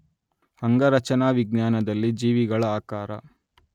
ಅಂಗರಚನಾವಿಜ್ಞಾನದಲ್ಲಿ ಜೀವಿಗಳ ಆಕಾರ